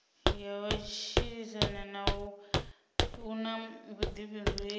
ya matshilisano u na vhuḓifhinduleli